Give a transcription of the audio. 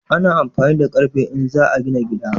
Ana amfani da ƙarfe in za a gina gida